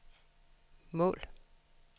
mål